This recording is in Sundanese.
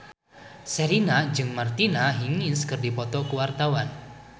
Sherina jeung Martina Hingis keur dipoto ku wartawan